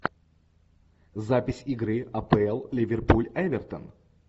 запись игры апл ливерпуль эвертон